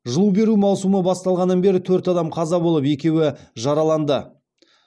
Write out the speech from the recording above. жылу беру маусымы басталғаннан бері төрт адам қаза болып екеуі жараланды